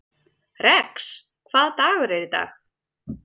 Rex, hvaða dagur er í dag?